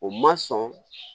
O ma sɔn